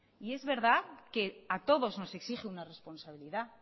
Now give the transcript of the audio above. y es verdad que a todos nos exige una responsabilidad